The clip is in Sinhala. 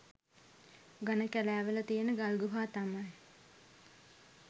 ඝන කැලෑවල තියෙන ගල් ගුහා තමයි